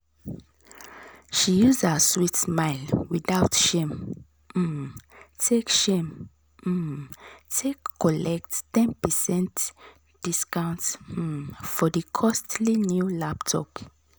she use her sweet smile without shame um take shame um take collect ten percent discount um for the costly new laptop.